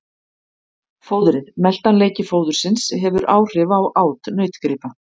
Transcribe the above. Fóðrið Meltanleiki fóðursins hefur áhrif á át nautgripa.